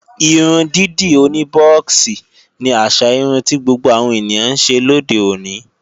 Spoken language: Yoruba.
Irun dídì oní bọ́ọ̀xì ni àṣà irun ti gbogbo àwọn ènìyàn ńṣe lóde òní